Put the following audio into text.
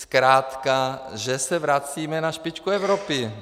Zkrátka že se vracíme na špičku Evropy.